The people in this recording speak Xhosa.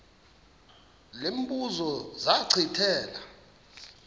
lo mbuzo zachithela